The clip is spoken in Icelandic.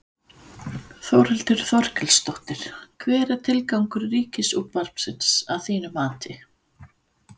Þórhildur Þorkelsdóttir: Hver er tilgangur Ríkisútvarpsins að þínu mati?